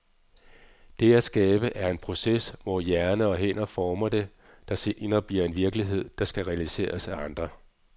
Det at skabe er en proces, hvor hjerne og hænder former det, der senere bliver en virkelighed, der skal realiseres af andre.